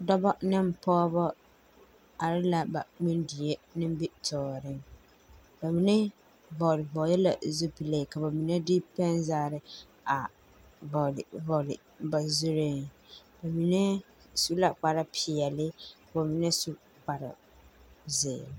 Dͻbͻ ne pͻgebͻ are la ba ŋmene die nimbitͻͻreŋ. Ba mine bͻre bͻre la zupile ka ba mine de pԑnzagere a bͻre bͻre ba zuriŋ. Ba mine su la kpare peԑle ka ba mine su kpare zeere.